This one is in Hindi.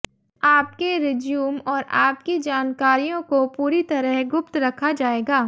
आपके रिज्यूम और आपकी जानकारियों को पूरी तरह गुप्त रखा जाएगा